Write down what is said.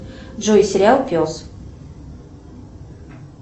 джой сериал пес